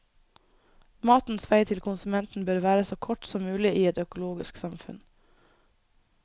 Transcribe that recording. Matens vei til konsumenten bør være så kort som mulig i et økologisk samfunn.